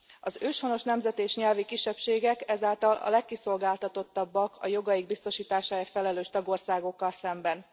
Az őshonos nemzeti és nyelvi kisebbségek ezáltal a legkiszolgáltatottabbak a jogaik biztosításáért felelős tagországokkal szemben.